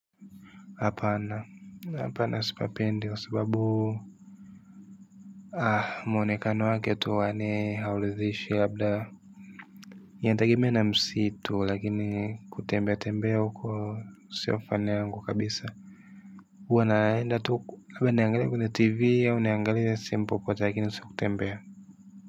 Apana, apana sipapendi kwa sababu ah mwonekano wake tu huwa ni hauridhishi labda inategemea na msitu lakini kutembea tembea huko sio fan yangu kabisa huwa naenda tu labda niangalie kwenye tv au niangalie ile simpo lakini si kutembea.